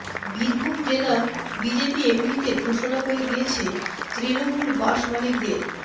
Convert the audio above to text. বীরভূম জেলা বিজেপি এমনিতে ঘোষণা করে দিয়েছে তৃণমূল বাস মালিকদের